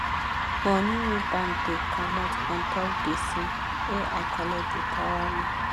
money wey bank da comot untop gbese wey i colet da para me